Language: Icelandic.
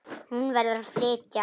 Hún verður að flytja.